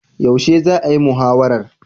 Yaushe za'a yi muhawarar?